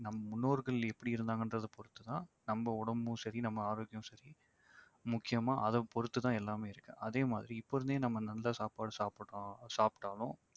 நம் முன்னோர்கள் எப்படி இருந்தாங்கன்றத பொறுத்துதான் நம்ம உடம்பும் சரி நம்ப ஆரோக்கியமும் சரி முக்கியமா அதைப் பொறுத்து தான் எல்லாமே இருக்கு அதே மாதிரி இப்ப இருந்தே நம்ம நல்ல சாப்பாடு சாப்பிறோம் சாப்பிட்டாலும்